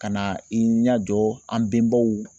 Ka na i ɲɛjɔ an bɛnbaw